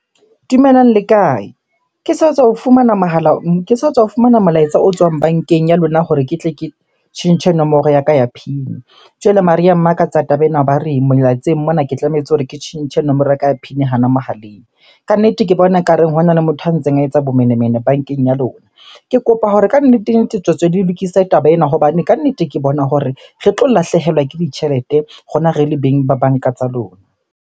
Dumelang, le kae? Ke sa tswa ho fumana mohala, ke sa tswa ho fumana molaetsa o tswang bankeng ya lona hore ke tle ke tjhentjhe nomoro ya ka ya PIN. Jwale mare ya mmakatsa taba ena ba re mona ke tlametse hore ke tjhentjhe nomoro ya ka ya PIN hona mohaleng. Kannete ke bona ekareng hona le motho a ntseng a etsa bomenemene bankeng ya lona. Ke kopa hore kannete-nnete, tswetswe le lokise taba ena hobane kannete ke bona hore re tlo lahlehelwa ke ditjhelete rona re le beng ba banka tsa lona.